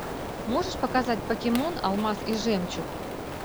можешь показать покемон алмаз и жемчуг